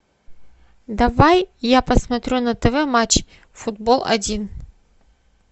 давай я посмотрю на тв матч футбол один